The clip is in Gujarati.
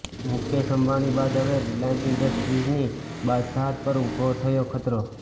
મુકેશ અંબાણી બાદ હવે રિલાયન્સ ઈન્ડસ્ટ્રીઝની બાદશાહત પર ઉભો થયો ખતરો